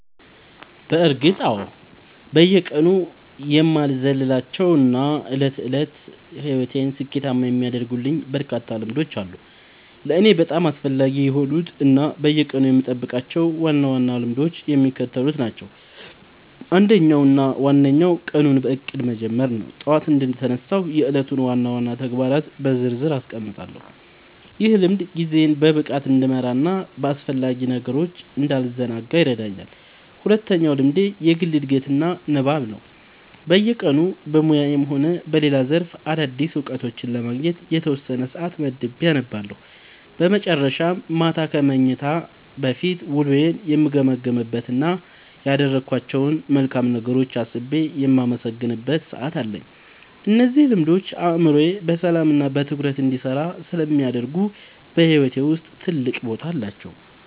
በእርግጥ አዎ፤ በየቀኑ የማልዘልላቸው እና የዕለት ተዕለት ሕይወቴን ስኬታማ የሚያደርጉልኝ በርካታ ልምዶች አሉ። ለእኔ በጣም አስፈላጊ የሆኑት እና በየቀኑ የምጠብቃቸው ዋና ዋና ልምዶች የሚከተሉት ናቸው፦ አንደኛው እና ዋነኛው ቀኑን በእቅድ መጀመር ነው። ጠዋት እንደተነሳሁ የዕለቱን ዋና ዋና ተግባራት በዝርዝር አስቀምጣለሁ፤ ይህ ልምድ ጊዜዬን በብቃት እንድመራና በአላስፈላጊ ነገሮች እንዳልዘናጋ ይረዳኛል። ሁለተኛው ልምዴ የግል ዕድገትና ንባብ ነው፤ በየቀኑ በሙያዬም ሆነ በሌላ ዘርፍ አዳዲስ እውቀቶችን ለማግኘት የተወሰነ ሰዓት መድቤ አነባለሁ። በመጨረሻም፣ ማታ ከመተኛቴ በፊት ውሎዬን የምገመግምበት እና ያደረግኳቸውን መልካም ነገሮች አስቤ የማመሰግንበት ሰዓት አለኝ። እነዚህ ልምዶች አእምሮዬ በሰላምና በትኩረት እንዲሰራ ስለሚያደርጉ በሕይወቴ ውስጥ ትልቅ ቦታ አላቸው።"